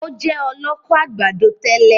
Ó jẹ́ Olóko àgbàdo tẹ́lẹ̀.